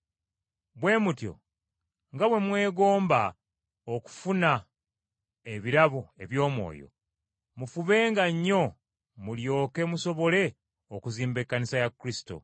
Bwe mutyo nga bwe mwegomba okufuna ebirabo eby’Omwoyo, mufubenga nnyo mulyoke musobole okuzimba Ekkanisa ya Kristo.